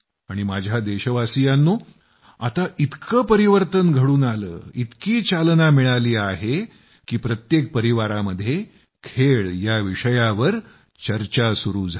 आणि माझ्या देशवासियांनो आता इतकं परिवर्तन घडून आलं इतकी चालना मिळाली आहे की प्रत्येक परिवारामध्ये खेळ या विषयावर चर्चा सुरू झाली